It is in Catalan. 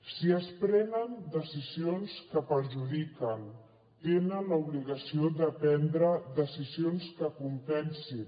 si es prenen decisions que perjudiquen tenen l’obligació de prendre decisions que compensin